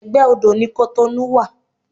Egbe odó ni Cotonou wa